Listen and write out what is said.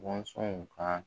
ka